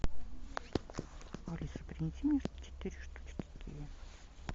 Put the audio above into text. алиса принеси мне четыре штучки киви